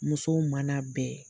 Muso mana bɛn